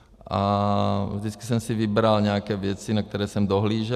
A vždycky jsem si vybral nějaké věci, na které jsem dohlížel.